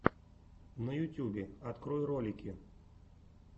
на ютьюбе открой ролики